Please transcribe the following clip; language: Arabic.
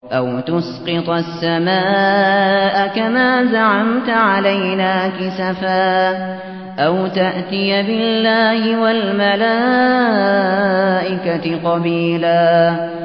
أَوْ تُسْقِطَ السَّمَاءَ كَمَا زَعَمْتَ عَلَيْنَا كِسَفًا أَوْ تَأْتِيَ بِاللَّهِ وَالْمَلَائِكَةِ قَبِيلًا